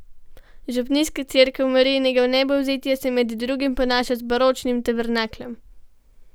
Župnijska cerkev Marijinega vnebovzetja se med drugim ponaša z baročnim tabernakljem.